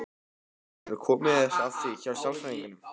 Þú hefur komist að því hjá sálfræðingnum?